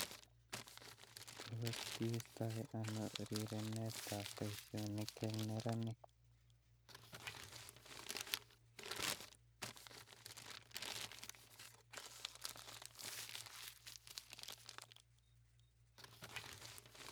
Tos kiistotoi anoo rerenetab boishonik eng neranik